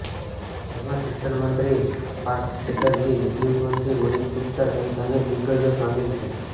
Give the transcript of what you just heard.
જેમાં શિક્ષણમંત્રી પાર્થ ચેટરજી વિદ્યુત મંત્રી મનીષ ગુપ્તા સહિત અનેક દિગ્ગજો સામેલ છે